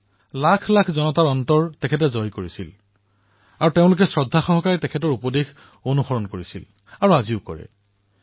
তেওঁ লক্ষাধিক লোকৰ হৃদয়ত জীয়াই আছে যিসকলে সম্পূৰ্ণ শ্ৰদ্ধাৰে তেওঁৰ উপদেশৰ অনুসৰণ কৰিছে আৰু আজিও কৰি আছে তেওঁলোকৰ হৃদয়ত জীয়াই আছে